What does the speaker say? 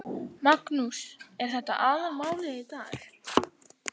Magnús: Er þetta aðalmálið í dag?